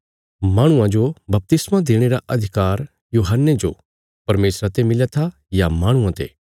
माहणुआं जो बपतिस्मा देणे रा अधिकार यूहन्ने जो परमेशरा ते मिलया था या माहणुआं ते